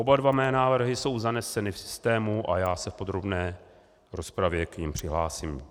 Oba dva mé návrhy jsou zaneseny v systému a já se v podrobné rozpravě k nim přihlásím.